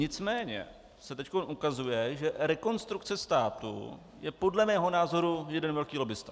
Nicméně se teď ukazuje, že Rekonstrukce státu je podle mého názoru jeden velký lobbista.